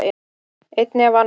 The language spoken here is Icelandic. Einni af annarri.